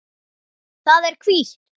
Það er hvítt.